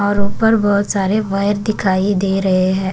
और ऊपर बहुत सारे वायर दिखाई दे रहे हैं।